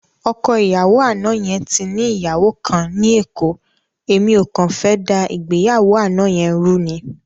Ọkọ ìyàwó àná yẹn ti ní ìyàwó kan ní Èkó, èmi ò kàn fẹ́ dá ìgbéyàwó àná yẹn rú ni.